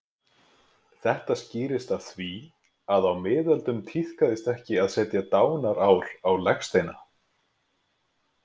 Þetta skýrist af því að á miðöldum tíðkaðist ekki að setja dánarár á legsteina.